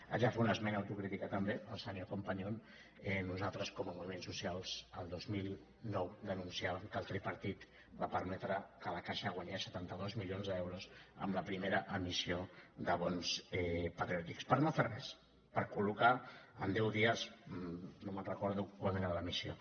haig de fer una esmena autocrítica també al senyor companyon nosaltres com a moviments socials el dos mil nou denunciàvem que el tripartit va permetre que la caixa guanyés setanta dos milions d’euros amb la primera emissió de bons patriòtics per no fer res per col·locar en deu dies no em recordo quant era l’emissió